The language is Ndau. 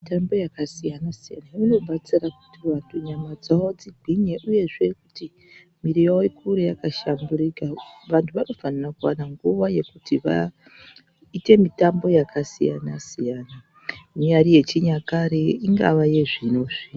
Mitambo yakasiyana-siyana inobetsere kuti nyama dzavo dzigwinye, uyezve kuti mwiri yavo ikure yakahlamburuka. Vantu vanofanira kuvana nguva yekuti vaite mitambo yakasiyana-siyana inyari yechinyakare ingava yezvino-zvino.